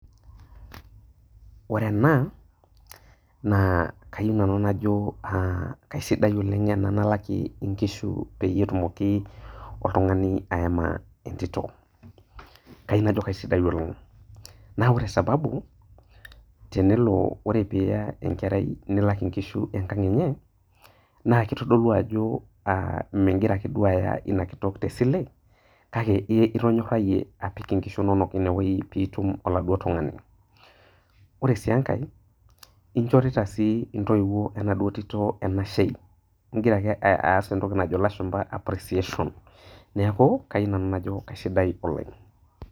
Ore ena na kesidai oleng ena nalaki nkishu petumoki oltungani aema entito, kayieu najo kesidai na ore sababu tenelo pilo alak nkishu enkang enye na kitodolu ajo migira ake duo aya inakitok tesile kake itonyorahie apik nkishu inonok inewueji pitum oladuo tungani, ore si enkae inchorita si ntoiwuo enashe ningare aas entoki najo lashumba appreciation ajo kesidai ena.